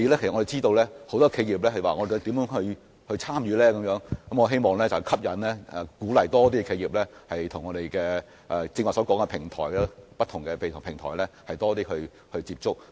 我們知道很多企業也想知道如何參與這些活動，我希望可以吸引及鼓勵更多企業，多些與我剛才提及的不同平台接觸。